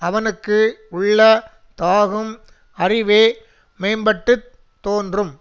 அவனுக்கு உள்ள தாகும் அறிவே மேம்பட்டுத் தோன்றும்